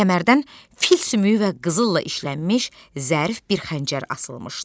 Kəmərdən fil sümüyü və qızılla işlənmiş zərif bir xəncər asılmışdı.